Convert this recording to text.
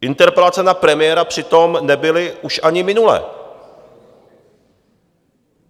Interpelace na premiéra přitom nebyly už ani minule.